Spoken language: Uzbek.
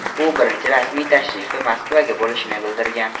U birinchi rasmiy tashrifi Moskvaga bo‘lishini bildirgan.